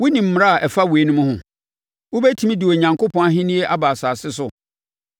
Wonim mmara a ɛfa ewiem ho? Wobɛtumi de Onyankopɔn ahennie aba asase so?